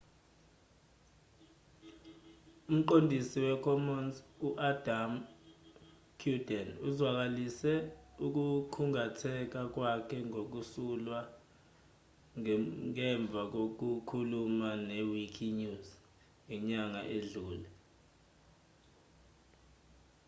umqondisi wecommons u-adam cuerden uzwakalise ukukhungatheka kwakhe ngokusulwa ngemva kokukhuluma ne-wikinews ngenyanga edlule